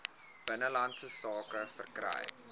binnelandse sake verkry